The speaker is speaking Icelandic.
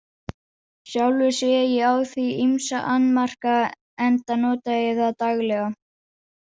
Sjálfur sé ég á því ýmsa annmarka enda nota ég það daglega.